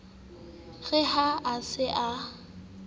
re ha a se a